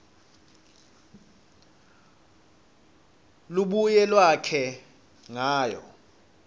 lubuye lwakhe ngayo